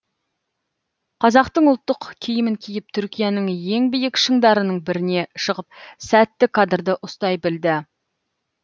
қазақтың ұлттық киімін киіп түркияның ең биік шыңдарының біріне шығып сәтті кадрды ұстай білді